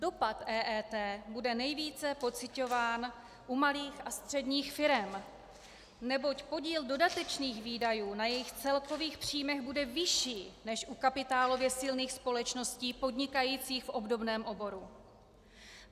Dopad EET bude nejvíce pociťován u malých a středních firem, neboť podíl dodatečných výdajů na jejich celkových příjmech bude vyšší než u kapitálově silných společností podnikajících v obdobném oboru.